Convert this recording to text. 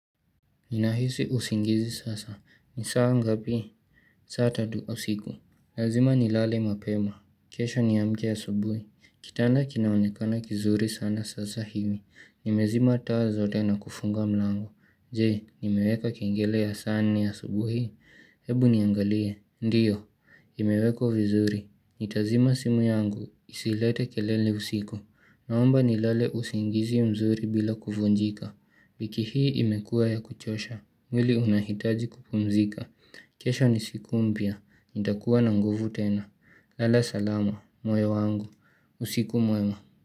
Nina hisi usingizi sasa. Ni saa ngapi? Saa tatu usiku. Lazima ni lale mapema. Kesho niamke asubuhi. Kitanda kinaonekana kizuri sana sasa hiwi. Nimezima taa zote na kufunga mlango. Jee, nimeweka kengele ya saa nne asubuhi. Hebu niangalie. Ndiyo. Imewekwa vizuri. Nitazima simu yangu. Isilete kelele usiku. Naomba ni lale usingizi mzuri bila kuvunjika wiiki hii imekua ya kuchosha mwili unahitaji kupumzika kesho ni siku mpya nitakuwa na nguvu tena lala salama, moyo wangu usiku mwema.